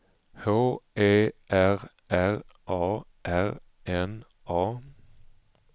H E R R A R N A